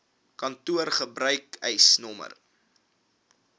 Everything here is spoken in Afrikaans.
kantoor gebruik eisnr